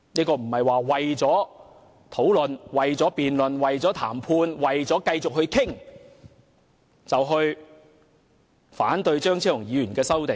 我們不應為了辯論、談判和繼續討論，而反對張議員的修正案。